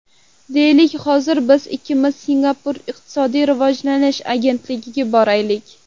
Deylik, hozir biz ikkimiz Singapur iqtisodiy rivojlanish agentligiga boraylik.